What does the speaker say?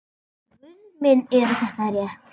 Guð minn er þetta rétt?